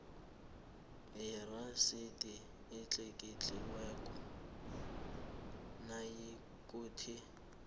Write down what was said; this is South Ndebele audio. yerasidi etlikitliweko nayikuthi